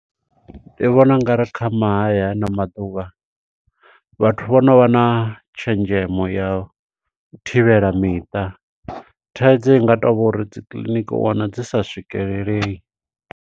Ndi vhona ungari kha mahaya hano maḓuvha vhathu vho no vha na tshenzhemo ya thivhela miṱa. Thaidzo inga to vha uri dzi kiḽiniki u wana dzi sa swikelelei.